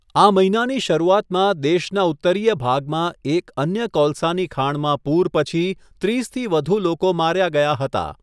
આ મહિનાની શરૂઆતમાં, દેશના ઉત્તરીય ભાગમાં એક અન્ય કોલસાની ખાણમાં પૂર પછી ત્રીસથી વધુ લોકો માર્યા ગયા હતા.